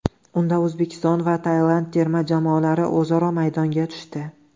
Unda O‘zbekiston va Tailand terma jamoalari o‘zaro maydonga tushdi.